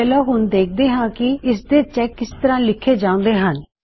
ਚਲੋ ਹੁਣ ਦਾਖਦੇ ਹਾਂ ਕੀ ਇਸਦੇ ਚੈਕ ਕਿਸ ਤਰਹ ਲਿਖੇ ਜਾਉਂਦੇ ਹਨ